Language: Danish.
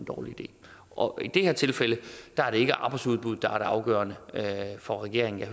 dårlig idé og i det her tilfælde er det ikke arbejdsudbuddet der afgørende for regeringen og